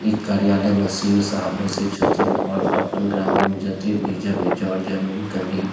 इ कार्यालय में सी.ओ. साहब बेएसे छथीन और अपन ग्रामीण जते भी जमी जर जमीन कभी --